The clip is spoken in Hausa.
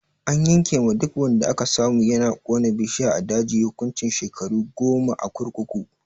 An yanke ma duk wanda aka samu yana kona bishiya a daji hukuncin shekaru goma a kurkuku.